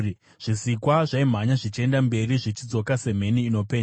Zvisikwa zvaimhanya zvichienda mberi zvichidzoka semheni inopenya.